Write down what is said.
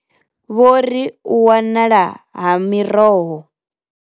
Vho ri, U wanala ha miroho.